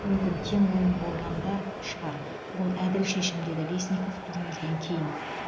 мүмкін тең ойын болған да шығар бұл әділ шешім деді лесников турнирден кейін